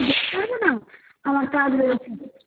আমি তো যেতে পারবো না আমার কাজ রয়েছে চোদ্দ